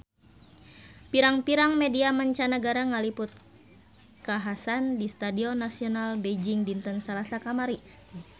Pirang-pirang media mancanagara ngaliput kakhasan di Stadion Nasional Beijing dinten Salasa kamari